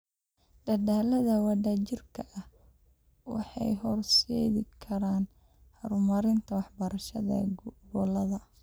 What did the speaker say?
Dadaallada wadajirka ah waxay horseedi karaan horumarinta waxbarashada gobollada.